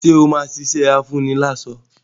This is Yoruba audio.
Ṣé o ṣì máa ṣiṣẹ́ afúniláṣọ́?